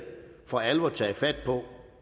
for alvor taget fat på